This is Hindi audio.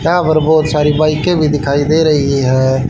यहाँ पर बहोत सारी बाईकें भी दिखाई दे रही हैं।